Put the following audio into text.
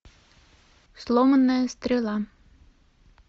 сломанная стрела